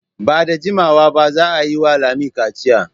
Ba da jimawa ba za a yi wa Lami kaciya.